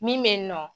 Min bɛ yen nɔ